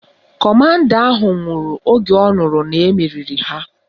Kọmanda ahụ nwụrụ oge ọ nụrụ na-emeriri ha